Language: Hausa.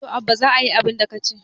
to Abba za a yi abinda ka ce